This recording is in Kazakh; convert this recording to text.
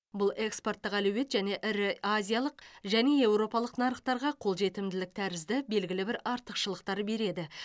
бұл экспорттық әлеует және ірі азиялық және еуропалық нарықтарға қолжетімділік тәрізді белгілі бір артықшылықтар береді